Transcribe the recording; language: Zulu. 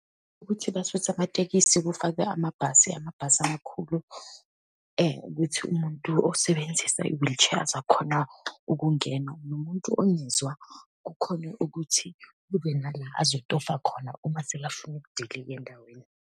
Ukuthi basuse amatekisi kufakwe amabhasi, amabhasi amakhulu, ukuthi umuntu osebenzisa i-wheelchair azakhone ukungena, nomuntu ongezwa kukhone ukuthi kube nala azotofa khona uma sekafuna ukudilika endaweni.